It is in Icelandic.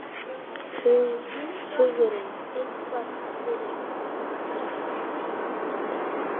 Hugrún: Eitthvað fyrir pabba kannski?